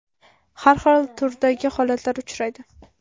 Har xil turdagi holatlar uchraydi.